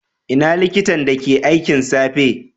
Ina likitan da ke aikin safe?